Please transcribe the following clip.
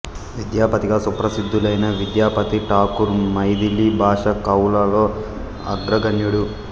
విద్యాపతిగా సుప్రసిద్ధులైన విద్యాపతి ఠాకూర్ మైథిలి భాషా కవులలో అగ్రగణ్యుడు